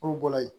K'o bɔra yen